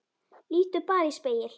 Líttu bara í spegil.